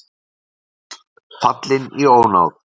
Páll fallinn í ónáð